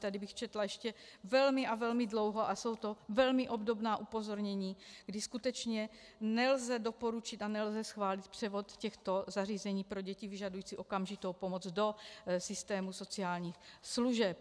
Tady bych četla ještě velmi a velmi dlouho a jsou to velmi obdobná upozornění, kdy skutečně nelze doporučit a nelze schválit převod těchto zařízení pro děti vyžadující okamžitou pomoc do systému sociálních služeb.